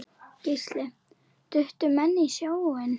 Gísli: Duttu menn í sjóinn?